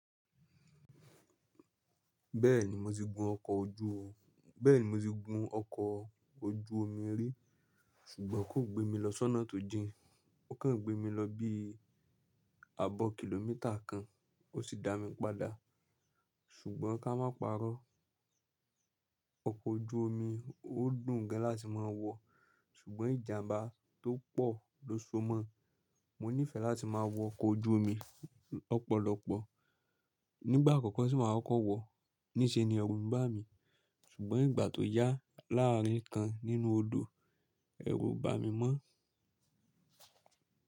Bẹ́ẹ̀ni mo ti gun ọkọ̀ ojú o, bẹ́ẹ̀ni mo ti gun ọkọ̀ ojú omi rí, ṣùgbọ́n kò gbé mi lọ sọ́nà tó jìn. Ó kàn gbé mi lọ bí i ààbọ̀ kìlómítà kan, ó sì dá mi padà. Ṣùgbọ́n ká má parọ́, ọkọ̀ ojú omi ó dùn gan láti máa wọ̀, ṣùgbọ́n ìjàmbá tó pọ̀ ló so mọ́. Mo nífẹ̀ẹ́ láti máa wọ ọkọ̀ ojú omi lọ́pọ̀lọpọ̀. Nígbà àkọ́kọ́ tí màá kọ̀ wọ̀, níṣe ni ẹrù ń bá mi, ṣùgbọ́n ìgbà tó yà, láàárín kan nínú odò ẹrù o bà mí mọ́